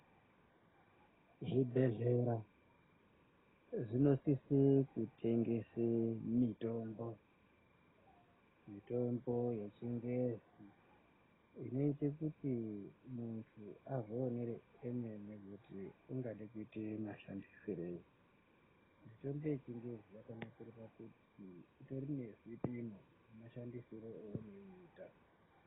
Zvibhehlera zvinosise kutengese mitombo mitombo yechingezi, inoite kuti muntu azvionere emene kuti ungada kuite mashandisirei. Mitombo yechingezi yakanakire kuti itori ngezvipimo zvemashandisire eunoiita.